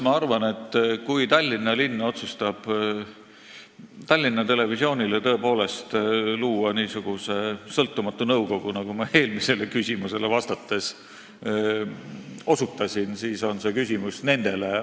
Ma arvan, et kui Tallinna linn otsustab Tallinna Televisioonile luua niisuguse sõltumatu nõukogu, millele ma eelmisele küsimusele vastates osutasin, siis on see küsimus nendele.